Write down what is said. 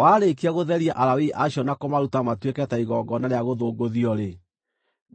“Warĩkia gũtheria Alawii acio na kũmaruta matuĩke ta igongona rĩa gũthũngũthio-rĩ,